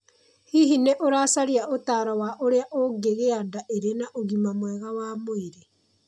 Hihi nĩ ũracaria ũtaaro wa ũrĩa ũngĩgĩa nda ĩrĩ na ũgima mwega wa mwĩrĩ?